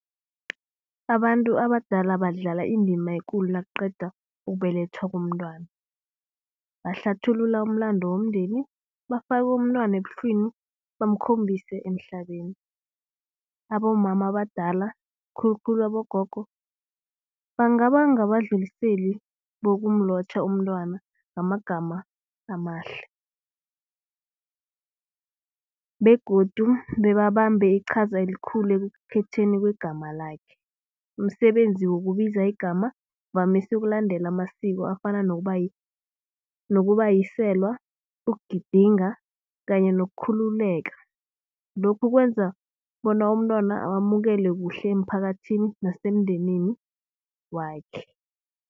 Abantu abadala badlala indima ekulu nakuqeda ukubelethwa komntwana. Bahlathululela umlando womndeni bafake umntwana ebuhlwini bamkhombise emhlabeni. Abomama abadala khulukhulu abogogo bangaba ngabadluliseli bokumlotjha umntwana ngamagama amahle begodu bebabambe iqhaza elikhulu ekukhetheni kwegama lakhe. Umsebenzi wokubiza igama uvamise ukulandela amasiko afana nokubuyiselwa ukugidinga kanye nokukhululeka. Lokhu kwenza bona umntwana awamukele kuhle emphakathini nasemndenini wakhe.